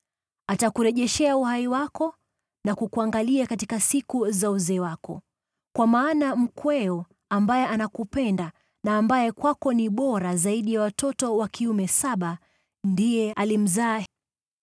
Atakurejeshea uhai wako na kukuangalia katika siku za uzee wako. Kwa maana mkweo ambaye anakupenda, na ambaye kwako ni bora zaidi ya watoto wa kiume saba, ndiye alimzaa.”